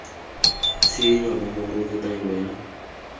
tshenyo nomoro le taelo ya